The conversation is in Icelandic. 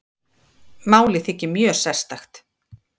Málið þykir mjög sérstakt